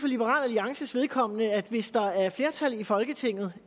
liberal alliances vedkommende sige at hvis der er flertal i folketinget